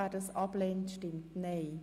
Wer sie ablehnt, stimmt nein.